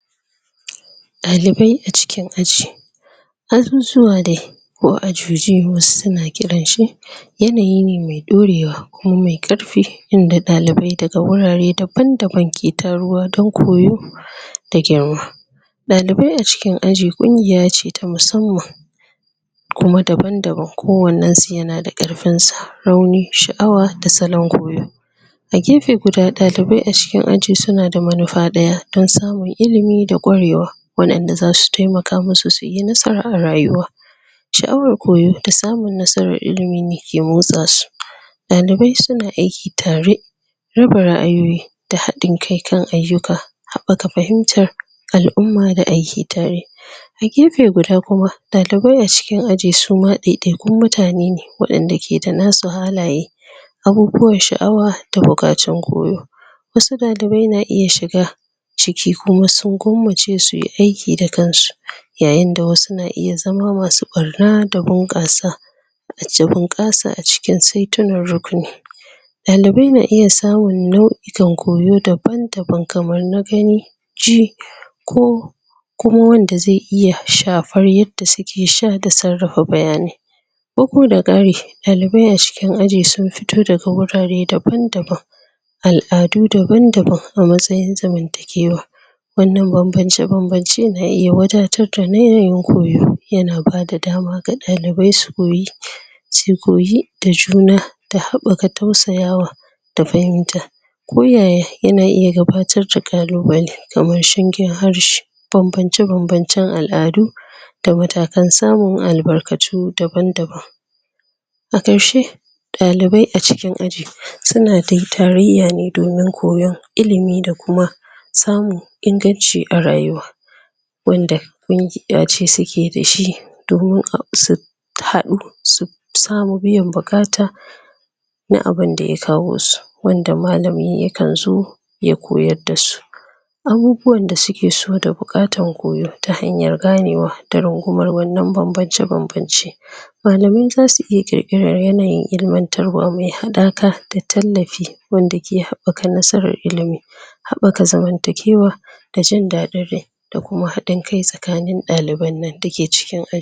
Dalibai a cikin aji asusuwa dai, ko ajuji wasu su na kiran shi yanayi ne mai daurewa, kuma mai karfi inda dalibai da ga wurare daban-daban ke taruwa dan koyo da girma dalibai a cikin aji kungiya ce ta musamman kuma daban-daban, kowannen su ya na da karfin sa rauni, shaawa da tsanin goyo A gefe guda, dalibai a cikin aji suna da manufa daya don samun ilimi da kwarewa wadan da za su taimaka masu su yinasara a rayuwa shaawar koyo ta samun nasarar ilimi ke motsa su dalibai su na aiki tare raba raayoyi da hadin kai kan ayuka haɓaka fahimar alumma da aiki tare a gefe guda kuma, dalibai a cikin aji su ma daidaikun mutane ne, wadanda ke da na su halaye abubuwan shaawa ta bukatun koyo wasu dalibai na iya shiga ciki ku ma sun gwamace su yi aiki da kansu yayin da wasu na iya zama masu barna da bankassa a cikin kasa, a cikin saitunan rukuni. Dalibai na iya samun nauyukan koyo daban-daban kamar na gani ji, ko kuma wanda zai iya shafar yadda su ke sha da tsarafa bayanai. Ko ku da kari, dalibai a cikin aji sun fito da ga wurare daban-daban al'adu daban-daban a matsayin zamanta giwa wannan banbance-babance na iya iya wadatar da na yayin koyo ya na bada dama ga dalibai su koyi su koyi da juna da haɓaka tausayawa da fahimta, ko yaya ya na iya gabbatar dakalluballi, kamar shangen harshi banbance-banbancen al'adu da matakan samun albarkatu daban-daban A karshe, dalibai a cikin aji su na dai taraya ne domin koyon ilimi da kuma, samun inganci a rayuwa wanda kungiya ce su ke dashi, domin su hadu su samu biyan bukata na abunda ya kawo su, wanda mallami ya kan zo ya koyar da su. Abubuwan da su ke so da bukatan koyo ta hanyar ganewa, da rungumar wannan banbance-banbance mallamai za su iya kirkirrar yanayi ilimantarwa mai hadaka da tallafi wanda ke haɓaka nasarar ilimi. Haɓaka zamantakiwa ta jindadin rai da kuma hadin kai tsakanin dallibai'n nan da ke cikin a